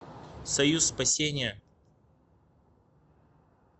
союз спасения